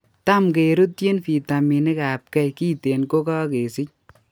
Tam kerutyin vitaminik ab K kiten ko kakesich